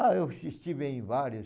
Ah, eu es estive em vários.